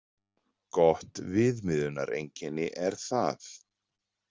Gott viðmiðunareinkenni er það.